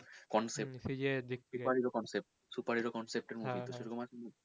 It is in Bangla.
Concept super hero concept super hero concept